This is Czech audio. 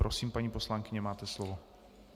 Prosím, paní poslankyně, máte slovo.